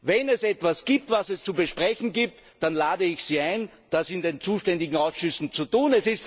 Wenn es etwas gibt, was es zu besprechen gilt, dann lade ich Sie ein, das in den zuständigen Ausschüssen zu tun.